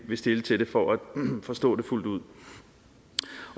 vil stille til det for at forstå det fuldt ud